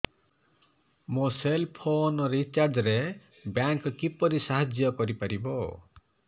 ମୋ cell phone recharge ରେ bank କିପରି ସାହାଯ୍ୟ କରିପାରିବ